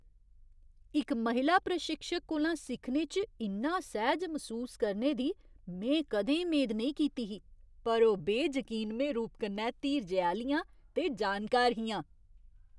इक महिला प्रशिक्षक कोला सिक्खने च इन्ना सैह्ज मसूस करने दी में कदें मेद नेईं कीती ही, पर ओह् बेजकीनमें रूप कन्नै धीरजै आह्लियां ते जानकार हियां।